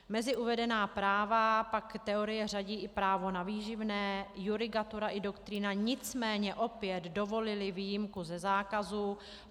Mezi uvedená práva pak teorie řadí i právo na výživné, judikatura i doktrína nicméně opět dovolily výjimku ze zákazu.